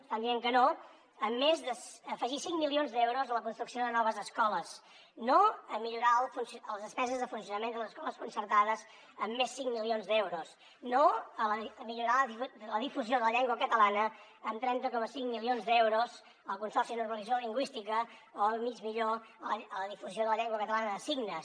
estan dient que no a més a afegir cinc milions d’euros a la construcció de noves escoles no a millorar les despeses de funcionament de les escoles concertades amb més cinc milions d’euros no a millorar la difusió de la llengua catalana amb trenta coma cinc milions d’euros al consorci per a la normalització lingüística o al mig milió a la difusió de la llengua catalana de signes